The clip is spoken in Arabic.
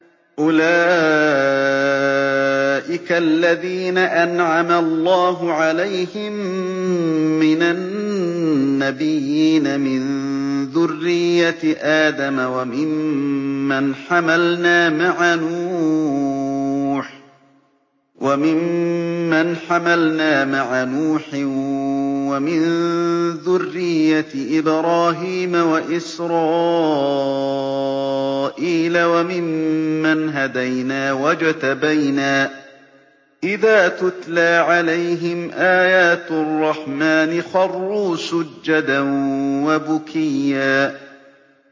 أُولَٰئِكَ الَّذِينَ أَنْعَمَ اللَّهُ عَلَيْهِم مِّنَ النَّبِيِّينَ مِن ذُرِّيَّةِ آدَمَ وَمِمَّنْ حَمَلْنَا مَعَ نُوحٍ وَمِن ذُرِّيَّةِ إِبْرَاهِيمَ وَإِسْرَائِيلَ وَمِمَّنْ هَدَيْنَا وَاجْتَبَيْنَا ۚ إِذَا تُتْلَىٰ عَلَيْهِمْ آيَاتُ الرَّحْمَٰنِ خَرُّوا سُجَّدًا وَبُكِيًّا ۩